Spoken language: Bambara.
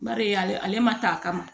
Bari ale ma taa a kama